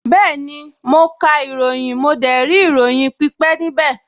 Bẹ́ẹ̀ni, mo ka ìròyìn, mo dẹ̀ rí ìròyìn pípẹ́ níbẹ̀